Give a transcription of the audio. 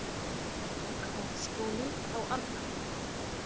Háskóli á Arnarhóli.